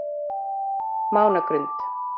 Mánagrund